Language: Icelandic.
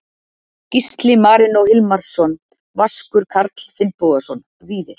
Gísli Marinó Hilmarsson Vaskur Karl Finnbogason Víðir